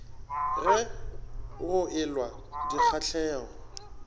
ge go e lwa dikgahlego